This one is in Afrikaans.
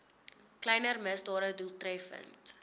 kleiner misdade doeltreffend